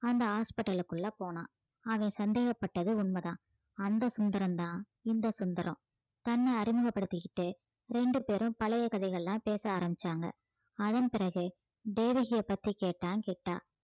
அந்த hospital க்குள்ள போனான் அவன் சந்தேகப்பட்டது உண்மைதான் அந்த சுந்தரம் தான் இந்த சுந்தரம் தன்னை அறிமுகப்படுத்திக்கிட்டு ரெண்டு பேரும் பழைய கதைகள்லாம் பேச ஆரம்பிச்சாங்க அதன் பிறகு தேவகியை பற்றி கேட்டான் கிட்டா